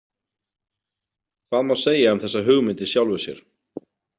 Hvað má segja um þessa hugmynd í sjálfu sér?